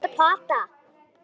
Þú ert að plata.